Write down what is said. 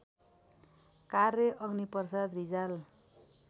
कार्य अग्निप्रसाद रिजाल